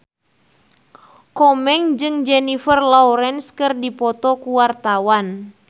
Komeng jeung Jennifer Lawrence keur dipoto ku wartawan